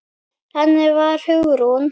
Þannig var Hugrún.